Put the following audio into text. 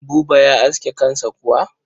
Buba ya aske kansa kuwa?